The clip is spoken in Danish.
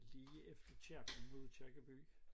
Lige efter kirken mod Aakirkeby